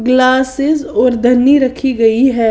Glasses और धनी रखी गई है।